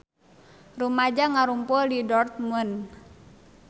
Rumaja ngarumpul di Dortmund